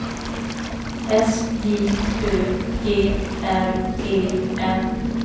S J Ö G R E N